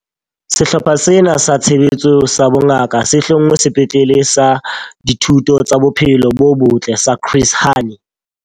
Sehlopha sena sa Tshebetso sa Bongaka se hlongwe Sepetlele sa Dihuto tsa Bophelo bo Botle sa Chris Hani.